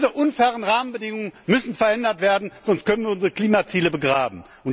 Diese unfairen Rahmenbedingungen müssen verändert werden, sonst können wir unsere Klimaziele begraben.